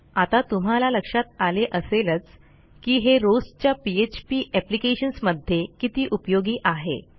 आता तुम्हाला लक्षात आले असेलच की हे रोजच्या पीएचपी एप्लिकेशन्स मध्ये किती उपयोगी आहे